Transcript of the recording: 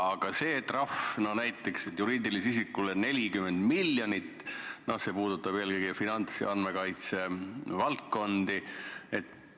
Aga see näiteks, et juriidilise isiku trahv on 40 miljonit, puudutab eelkõige finants- ja andmekaitsevaldkonda.